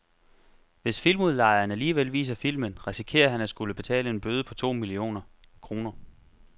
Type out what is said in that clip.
Hvis filmudlejeren alligevel viser filmen, risikerer han at skulle betale en bøde på to millioner kroner.